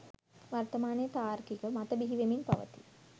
වර්තමානයේ තාර්කික මත බිහිවෙමින් පවතී